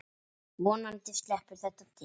Vonandi sleppur þetta til.